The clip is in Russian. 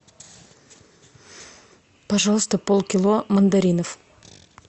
пожалуйста полкило мандаринов